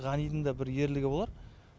ғанидың да бір ерлігі болар